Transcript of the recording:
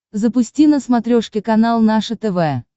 запусти на смотрешке канал наше тв